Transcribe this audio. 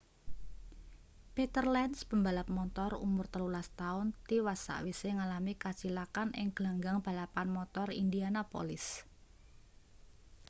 peter lenz pembalap montor umur 13 taun tiwas sawise ngalami kacilakan ing glanggang balapan motor indianapolis